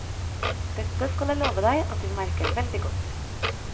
Dette skal jeg love deg at vi merker veldig godt.